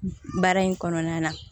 Baara in kɔnɔna na